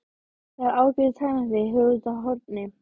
Það er ágætur tannlæknir hér úti á horni.